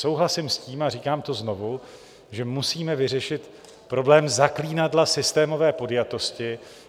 Souhlasím s tím, a říkám to znovu, že musíme vyřešit problém zaklínadla systémové podjatosti.